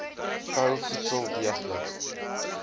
kou voedsel deeglik